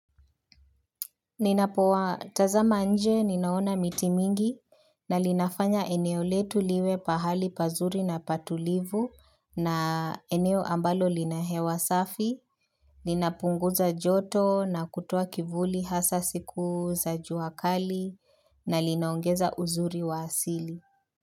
Ninapowa tazama nje, ninaona miti mingi, na linafanya eneo letu liwe pahali pazuri na patulivu, na eneo ambalo lina hewa safi, ninapunguza joto na kutoa kivuli hasa siku za juakali, na linaongeza uzuri wa asili.